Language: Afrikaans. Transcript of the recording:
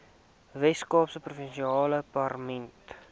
weskaapse provinsiale parlement